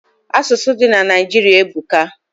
Asusu di na Naijiri ebuka